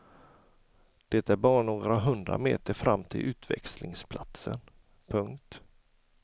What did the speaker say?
Det är bara några hundra meter fram till utväxlingsplatsen. punkt